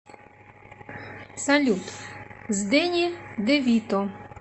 салют с дэнни девито